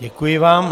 Děkuji vám.